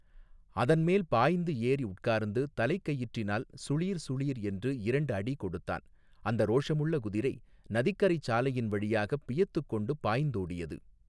அதன்மேல் பாய்ந்து ஏறி உட்கார்ந்து தலைக் கயிற்றினால் சுளீர் சுளீர் என்று இரண்டு அடி கொடுத்தான் அந்த ரோஷமுள்ள குதிரை நதிக்கரைச் சாலையின் வழியாகப் பியத்துக் கொண்டு பாய்ந்தோடியது.